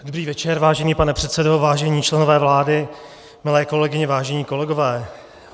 Dobrý večer, vážený pane předsedo, vážení členové vlády, milé kolegyně, vážení kolegové.